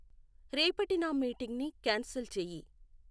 రేపటి నా మీటింగ్ని క్యాన్సిల్ చేయి